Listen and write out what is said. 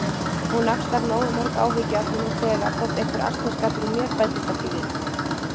Hún axlar nógu mörg áhyggjuefni nú þegar þótt einhver asnaskapur í mér bætist ekki við